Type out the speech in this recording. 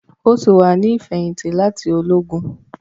O ti wá ni ifẹhinti láti Ológùn